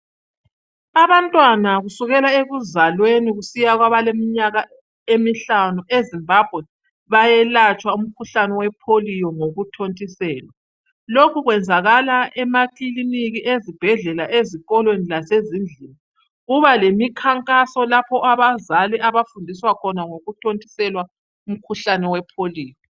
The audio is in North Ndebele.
Abantwana kusukela ukuzalweni kusiya kwabaleminyaka emihlanu eZimbabwe bayelatshwa umkhuhlane wepolio ngokuthontiselwa lokhu kwenzakala emakilinika ezibhedlela ezikolweni lasezindlini kuba lemikhankaso lapho abazali abafundiswa khona ngokuthontiselwa umkhuhlane wepolio